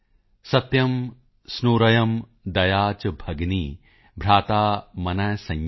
ਸਤਯੰ ਸੁਨੂਰਯੰ ਦਯਾ ਚ ਭਗਿਨੀ ਭਰਾਤਾ ਮਨ ਸੰਯਮ